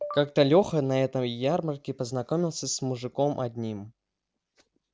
как-то лёха на этой ярмарке познакомился с мужиком одним